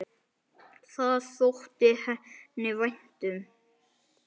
Það þótti henni vænt um.